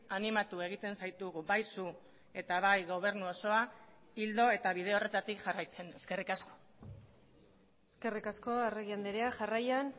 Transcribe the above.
animatu egiten zaitugu bai zu eta bai gobernu osoa ildo eta bide horretatik jarraitzen eskerrik asko eskerrik asko arregi andrea jarraian